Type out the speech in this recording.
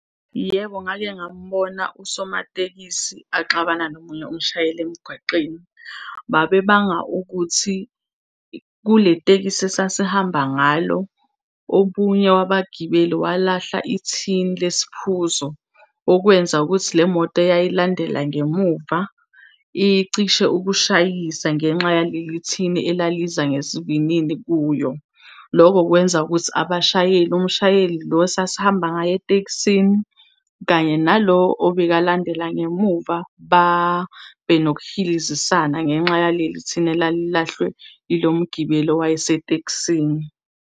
Yebo, ngake ngambona usomatekisi axabane nomunye umshayeli emgwaqeni. Babebanga ukuthi kule tekisi esasihamba ngalo omunye wabagibeli walahla ithini lesiphuzo, okwenza ukuthi le moto eyayilandela ngemuva icishe ukushayisa ngenxa yaleli thini elaliza ngesivinini kuyo. Loko kwenza ukuthi abashayeli, umshayeli lo esasihamba ngaye etekisini kanye nalo obekalandela ngemuva babenokuhilizisana ngenxa yaleli thini elalilahlwe yilo mgibeli owayesetekisini.